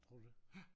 Tror du det?